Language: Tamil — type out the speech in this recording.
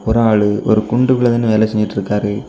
ஒரு ஆளு ஒரு குண்டுகுள்ள நின்னு வேல செஞ்சுட்டுருக்காரு.